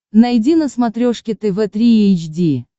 найди на смотрешке тв три эйч ди